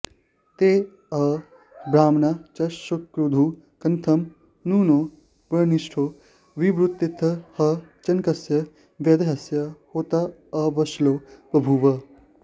ते ह ब्राह्मणाश्चुक्रुधुः कथं नु नो ब्रह्मिष्ठो ब्रुवीतेत्यथ ह जनकस्य वैदेहस्य होताऽश्वलो बभूव